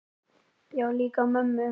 Já, líka mömmu